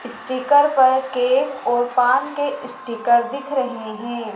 Sticker पर cake और पान के स्टीकर दिख रहे हैं।